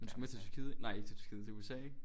Du skal med til Tyrkiet ikke? Nej ikke Tyrkiet til USA ikke?